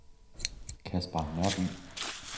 Caspar Nørby